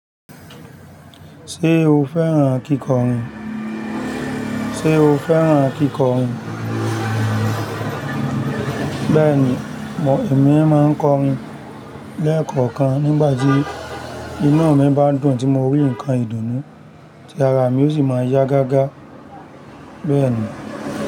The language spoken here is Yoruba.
Ṣé o fẹ́ràn kíkọrin? Ṣé o fẹ́ràn kíkọrin? Bẹ́ẹ̀ni, mo, èmi máa ń kọrin lẹ́ẹ̀kọ̀kan nígbà tí inú mi bá dùn tí mo rí nǹkan ìdùnnú tí ara mi ó sì máa yá gágá. Bẹ́ẹ̀ni.